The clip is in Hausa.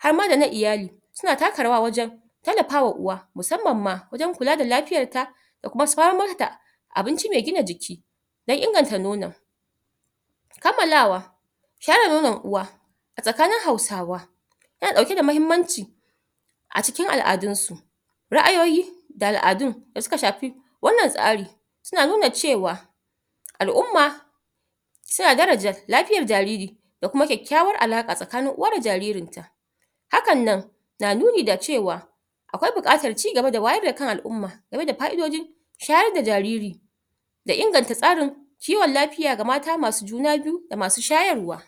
har ma da na iyali suna taka rawa wajen tallafawa uwa musamman ma wajen kula da lafiyar ta da kuma samar da abinci mai gina jiki don inganta nonon kammalawa shayar da nonon uwa a tsakanin hausawa yana ɗauke da mahimmanci a cikin al'adunsu ra'ayoyi da al'adun da suka shafi wannan tsari suna nuna cewa al'umma suna daraja lafiyar jariri da kum kyakkyawar alaƙa tsakanin uwa da jariri hakan nan na nuni da cewa akwai buƙatar cigaba da wayar da kan al'umma game da fa'idojin shayar da jariri da inganta tsarin kiwon lafiya ga mata masu juna biyu da masu shayarwa.